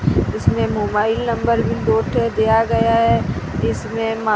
इसमें mobile number भी दो ठे दिया गया है इसमें मा--